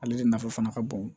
Ale de nafa fana ka bon